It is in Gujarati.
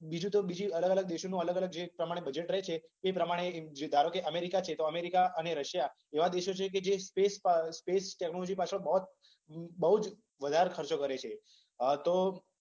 બીજુ તો બીજુ અલગ અલગ દેશોનુ અલગ અલગ જે પ્રમાણેનુ બજેટ રે છે. એ પ્રમાણે જો ધારો કે, અમેરીકા છે તો અમેરીકા અને રશીયા એવા દેશો છે કે જે સ્પેસ સ્પેસ ટેક્નોલોજી પાછળ બહોત બઉ જ વધારે ખર્ચો કરે છે. હા તો